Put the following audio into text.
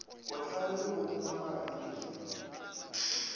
bohlale le bahumagadi ke sa